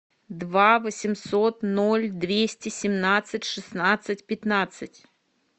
два восемьсот ноль двести семнадцать шестнадцать пятнадцать